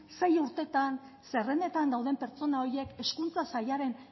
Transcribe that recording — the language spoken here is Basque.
sei urtetan zerrendetan dauden pertsona horiek hezkuntza sailaren